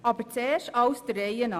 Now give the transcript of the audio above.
Aber zuerst alles der Reihe nach.